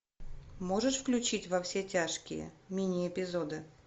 можешь включить во все тяжкие мини эпизоды